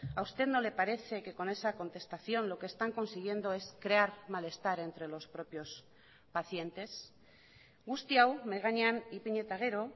a usted no le parece que con esa contestación lo que están consiguiendo es crear malestar entre los propios pacientes guzti hau mahai gainean ipini eta gero